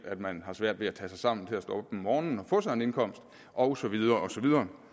at man har svært ved at tage sig sammen til at stå op morgenen og få sig en indkomst og så videre og så videre